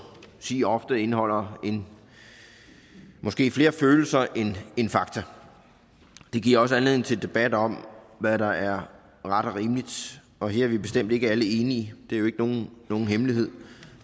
sige ofte indeholder måske flere følelser end fakta det giver også anledning til debat om hvad der er ret og rimeligt og her er vi bestemt ikke alle enige det er jo ikke nogen hemmelighed